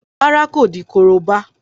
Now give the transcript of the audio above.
Rárá, kò di korobá.